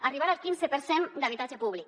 arribar al quinze per cent d’habitatge públic